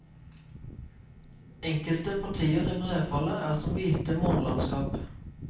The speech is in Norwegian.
Enkelte partier i brefallet er som hvite månelandskap.